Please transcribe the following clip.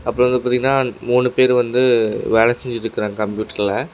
அப்பறம் வந்து பாத்தீங்கன்னா மூணு பேரு வந்து வேல செஞ்சுட்ருக்காங்க கம்ப்யூட்டர்ல .